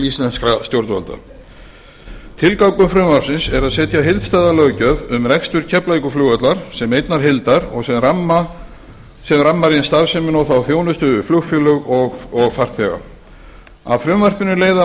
íslenskra stjórnvalda tilgangur frumvarpsins er að setja heildstæða löggjöf um rekstur keflavíkurflugvallar sem einnar heildar og sem rammar inn starfsemina og þá þjónustu við flugfélög og farþega af frumvarpinu leiða